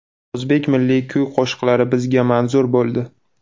O‘zbek milliy kuy-qo‘shiqlari bizga manzur bo‘ldi.